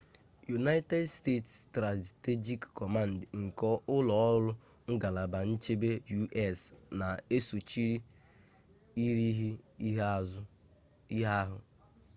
united states strategic command nke ụlọ ọrụ ngalaba nchebe u.s. na-esochi irighiri ihe ahụ